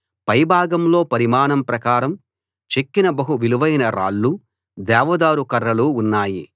పై భాగంలో పరిమాణం ప్రకారం చెక్కిన బహు విలువైన రాళ్లు దేవదారు కర్రలు ఉన్నాయి